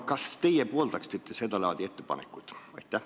Kas teie pooldaksite seda laadi ettepanekut?